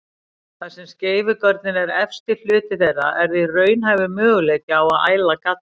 Þar sem skeifugörnin er efsti hluti þeirra er því raunhæfur möguleiki á að æla galli.